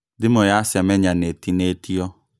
Thimũ ya Semenya nĩĩtinĩtio